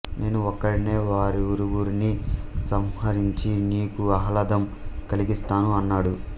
నేను ఒక్కడినే వారిరువురిని సంహరించి నీకు ఆహ్లాదం కలిగిస్తాను అన్నాడు